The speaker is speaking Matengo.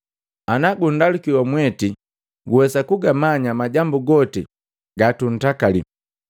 Ana gundaluki wa mweti, guwesa kugamanya majambu goti gatuntakali.”